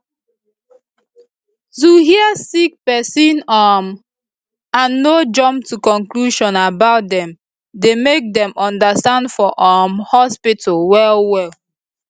to hear sick pesin um and no jump to conclusion about dem dey make dem understand for um hospitol well well